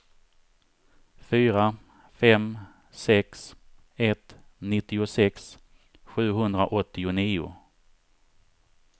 fyra fem sex ett nittiosex sjuhundraåttionio